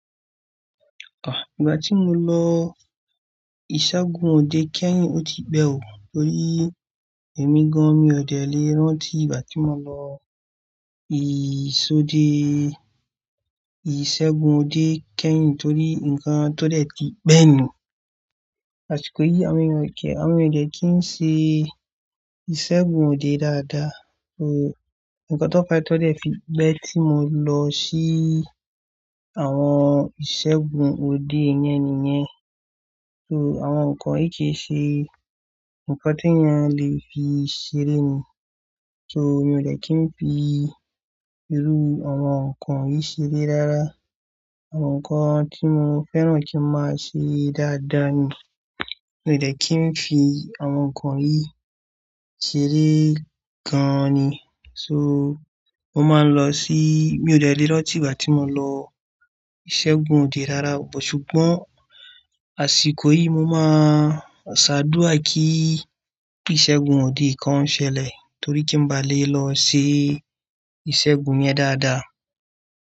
À, ìgbà tí mo lọ ìṣẹ́gun òde kẹ́yìn ó ti pẹ́ ò, torí èmi gan mi ò dẹ́ lè rántí ìgbà tí mo lọ ìsode-- ìṣẹ́gun òde kẹ́yìn torí ǹkan tó dẹ́ ti pẹ́ ni. Àsìkò yìí a mi ò dẹ̀, a mi ò dẹ́ kí ń ṣe ìṣẹ́gun òde dáadáa. So, ǹkan tó kọjá tó dẹ́ fi pẹ́ tí mo lọ sí àwọn ìṣẹ́gun òde yẹn nìyẹn. So àwọn nǹkan yìí kì í ṣe ǹkan ti eeyan lè fi ṣeré ni. So, mi ò dẹ́ kí ń fi irú àwọn nǹkan yìí ṣeré rará. Àwọn nǹkan tí mo fẹ́ràn kí máa ṣe dáadáa ni, mi ò dẹ́ kí ń fi àwọn nǹkan yìí ṣeré gan ni. So, mo máa ń lọ sí-- mi ò dẹ́ lè rántí ìgbà tí mo lọ ìṣẹ́gun òde dáadáa, but ṣùgbọ́n àsìkò yìí mo máa ṣàdúrà kí ìṣẹ́gun òde kan ṣẹlẹ̀ torí kí ń bá lè lọ ṣe ìṣẹ́gun yẹn dáadáa.